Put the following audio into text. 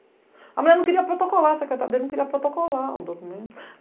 A mulher não queria protocolar, a secretária dele não queria protocolar o documento.